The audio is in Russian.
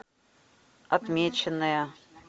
отмеченая